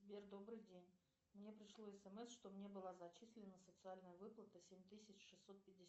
сбер добрый день мне пришло смс что мне была зачислена социальная выплата семь тысяч шестьсот пятьдесят